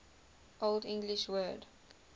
old english word